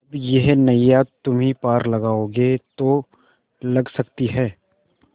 अब यह नैया तुम्ही पार लगाओगे तो लग सकती है